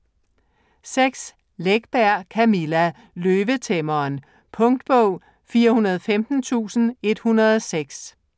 Läckberg, Camilla: Løvetæmmeren Punktbog 415106